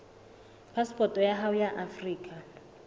phasepoto ya hao ya afrika